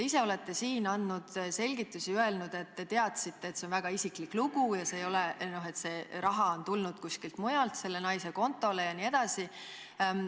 Te olete ise andnud siin selgitusi ja öelnud, et te teadsite, et see on väga isiklik lugu ja see raha on tulnud kuskilt mujalt selle naise kontole jne.